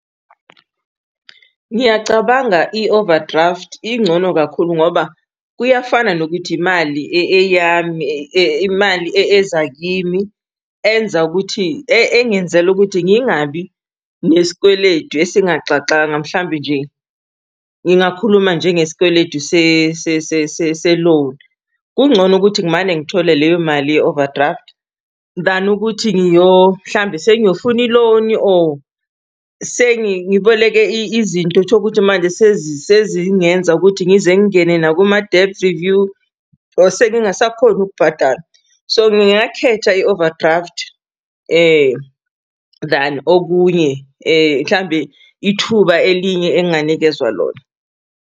Ngiyacabanga i-overdraft ingcono kakhulu ngoba kuyafana nokuthi imali eyami, imali eza kimi, engenzela ukuthi ngingabi nesikweledu esingaxaxanga, mhlawumbe nje ngingakhuluma nje ngesikweledu se-loan. Kungcono ukuthi ngimane ngithole leyo mali ye-overdraft, than ukuthi mhlawumbe sengiyofuna i-loan-i or ngiboleke izinto tholukuthi manje sezingenza ukuthi ngize ngingene nakuma-debt review or sengingasakhoni ukubhadala, so ngingakhetha i-overdraft than okunye mhlawumbe ithuba elinye enginganikezwa lona.